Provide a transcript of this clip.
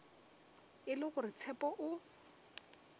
e le gore tshepo o